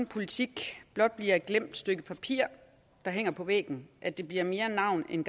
politik blot bliver et glemt stykke papir der hænger på væggen at det bliver mere af navn end